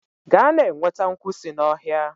Gaa na-enweta nkwu si n'ọhịa!